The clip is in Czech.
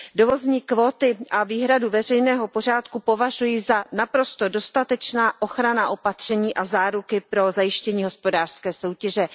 Dovozní kvóty a výhradu veřejného pořádku považuji za naprosto dostatečná ochranná opatření a záruky pro zajištění hospodářské soutěže.